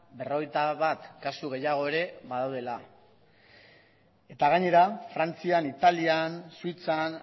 berrogeita bat kasu gehiago ere badaudela eta gainera frantzian italian suitzan